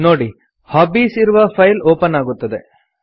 ನೋಡಿ ಹಾಬೀಸ್ ಇರುವ file open ಆಗುತ್ತದೆ